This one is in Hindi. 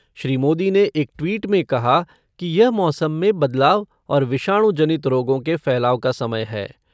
श्री मोदी ने एक ट्वीट में कहा कि यह मौसम में बदलाव और विषाणु जनित रोगों के फैलाव का समय है।